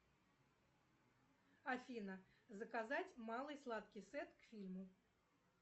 афина заказать малый сладкий сет к фильму